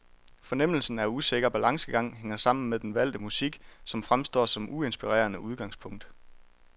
Fornemmelsen af usikker balancegang hænger sammen med den valgte musik, som fremstår som uinspirerende udgangspunkt.